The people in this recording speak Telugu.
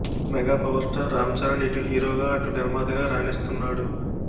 mega power star Ram Charan ఇటు హీరోగా అటు నిర్మాతగా రాణిస్తున్నాడు